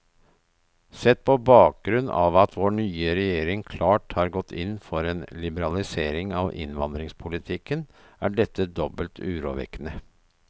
Sett på bakgrunn av at vår nye regjering klart har gått inn for en liberalisering av innvandringspolitikken, er dette dobbelt urovekkende.